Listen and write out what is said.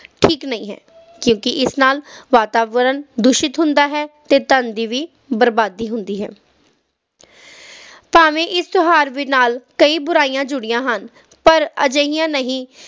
ਠੀਕ ਨਹੀਂ ਹੈ ਕਿਉਕਿ ਇਸ ਨਾਲ ਵਾਤਾਵਰਨ ਪ੍ਰਦੂਸ਼ਿਤ ਹੁੰਦਾ ਹੈ ਅਤੇ ਧਨ ਦੀ ਵੀ ਬਰਬਾਦੀ ਹੁੰਦੀ ਹੈ ਭਾਵੇਂ ਇਸ ਤਿਓਹਾਰ ਨਾਲ ਕਈ ਬੁਰਾਈਆਂ ਜੁੜੀਆਂ ਹਨ ਪਰ ਅਜਿਹੀਆਂ ਨਹੀਂ